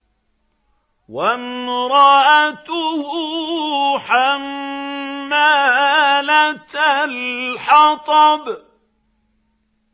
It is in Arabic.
وَامْرَأَتُهُ حَمَّالَةَ الْحَطَبِ